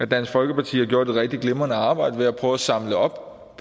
dansk folkeparti har gjort et rigtig glimrende arbejde ved at prøve at samle op